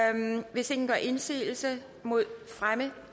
hvis ingen gør indsigelse mod fremme